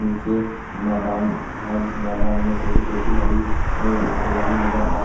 नीचे मैदान है जिसमें मैदान में छोटी छोटी हरि अ हरियाली नजर आ रही--